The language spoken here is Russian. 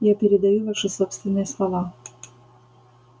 я передаю ваши собственные слова